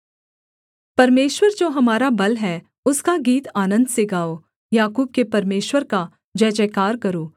परमेश्वर जो हमारा बल है उसका गीत आनन्द से गाओ याकूब के परमेश्वर का जयजयकार करो